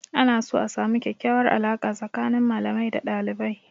Ana so a samu kyakyawar alaƙa tsakanin malamai da dalibai.